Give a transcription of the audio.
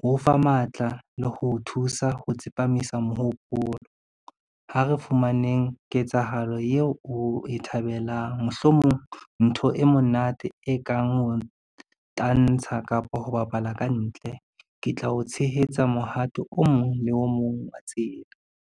Ho o fa matla le ho thusa ho tsepamisa mohopolo. Ha re fumaneng ketsahalo eo o e thabelang, mohlomong ntho e monate e kang ho tantsha kapa ho bapala ka ntle. Ke tla o tshehetsa mohato o mong le o mong wa tseba.